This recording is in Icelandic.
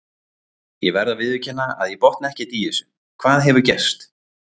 Ég verð að viðurkenna að ég botna ekkert í þessu, hvað hefur gerst?